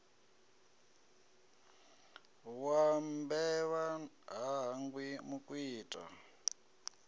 wa mbevha ha hangwi mukwita